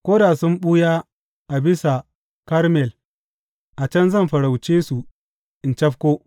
Ko da sun ɓuya a bisa Karmel, a can zan farauce su in cafko.